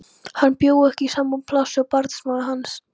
Hann bjó ekki í sama plássi og barnsmóðir hans.